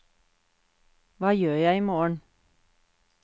hva gjør jeg imorgen